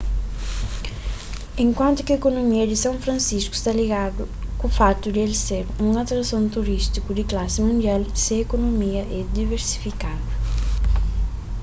enkuantu ki ekonomia di san francisco sta ligadu ku fatu di el ser un atrason turistiku di klasi mundial se ekonomia é diversifikadu